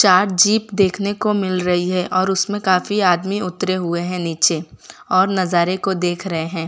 चार जीप देखने को मिल रही है और उसमें काफी आदमी उतरे हुए हैं नीचे और नजारे को देख रहे हैं।